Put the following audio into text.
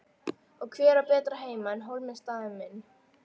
Og hver á betri heima en Hólminn staðinn minn.